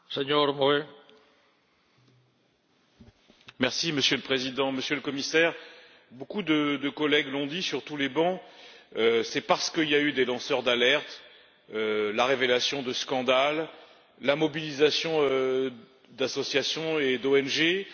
Monsieur le Président, Monsieur le Commissaire, beaucoup de collègues l'ont dit sur tous les bancs c'est parce qu'il y a eu des lanceurs d'alerte, la révélation de scandales, la mobilisation d'associations et d'ONG, la pression, aussi, du Parlement européen pour une fois, on peut s'en féliciter